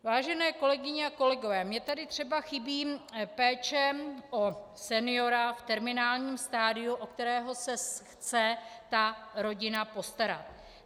Vážené kolegyně a kolegové, mně tady třeba chybí péče o seniora v terminálním stadiu, o kterého se chce ta rodina postarat.